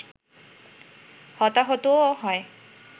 হতাহতও হয়